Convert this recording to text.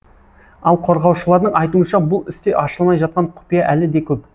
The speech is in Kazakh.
ал қорғаушылардың айтуынша бұл істе ашылмай жатқан құпия әлі де көп